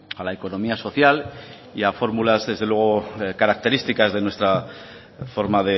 a la economía social y a fórmulas desde luego características de nuestra forma